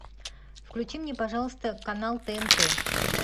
включи мне пожалуйста канал тнт